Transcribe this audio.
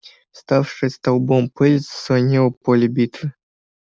вставшая столбом пыль заслонила поле битвы